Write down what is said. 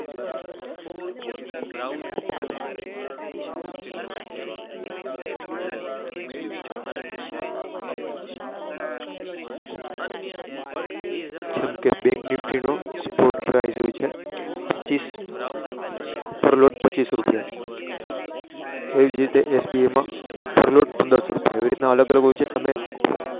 જેમ કે Bank Nifty નો Sport Drive જે હોય છે પર લોટ પચીસ રૂપિયા હોય છે. એજ રીતે SBI માં પર લોટ પંદરસો રૂપિયા આવી રીત ના અલગ અલગ હોય છે.